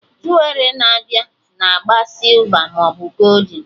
Juwerị na-abịa na agba sịlva maọbụ goldin